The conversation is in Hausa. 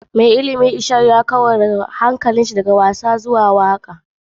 Mai ilimi ishak ya kau da hankalinshi daga karatu zuwa waka.